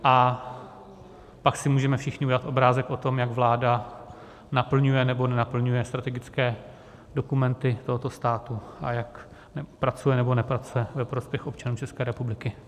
A pak si můžeme všichni udělat obrázek o tom, jak vláda naplňuje nebo nenaplňuje strategické dokumenty tohoto státu a jak pracuje nebo nepracuje ve prospěch občanů České republiky.